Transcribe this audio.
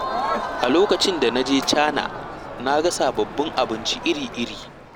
A lokacin da na je Cana, na ga sababbin abinci iri-iri.